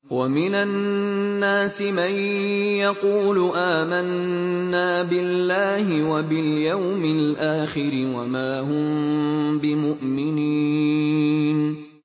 وَمِنَ النَّاسِ مَن يَقُولُ آمَنَّا بِاللَّهِ وَبِالْيَوْمِ الْآخِرِ وَمَا هُم بِمُؤْمِنِينَ